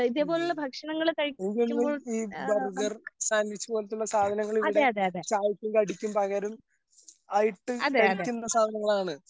ഉം ഈ burger sandwich പോലത്തുള്ള സാധനങ്ങളിവിടെ ചായക്കും കടിക്കും പകരം ആയിട്ട് കഴിക്കുന്ന സാധനങ്ങളാണ്.